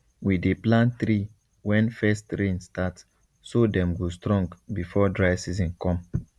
we dey plant tree when first rain start so dem go strong before dry season come